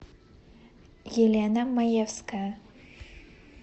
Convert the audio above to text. елена маевская